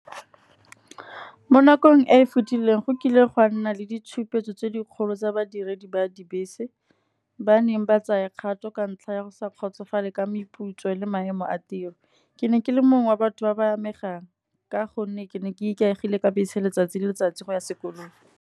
Mo nakong e e fetileng go kile gwa nna le ditshupetso tse dikgolo tsa badiredi ba dibese. Ba neng ba tsaya kgato ka ntlha ya go sa kgotsofala ka meputso le maemo a tiro. Ke ne ke le mongwe wa batho ba ba amegang, ka gonne ke ne ke ikaegile ka bese letsatsi le letsatsi go ya sekolong.